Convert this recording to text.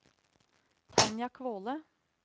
Tanja Kvåle